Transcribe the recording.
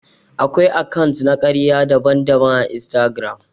Akwai akant na karya daban-daban à Instagram.